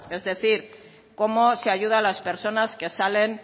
es decir cómo se ayuda a las personas que salen